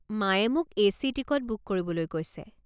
মায়ে মোক AC. Ticket book কৰিবলৈ কৈছে।